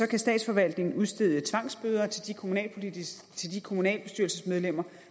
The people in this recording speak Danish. kan statsforvaltningen udstede tvangsbøder til de kommunalbestyrelsesmedlemmer